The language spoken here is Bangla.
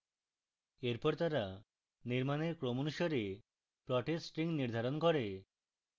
এরপর তারা নির্মাণের ক্রম অনুসারে plots strings নির্ধারণ করে